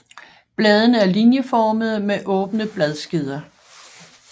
Bladene er linjeformede med åbne bladskeder